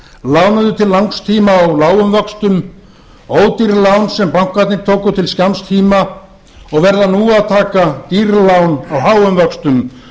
lánuðu til langs tíma á lágum vöxtum ódýr lán sem bankarnir tóku til skamms tíma og verða nú að taka dýr lán á háum vöxtum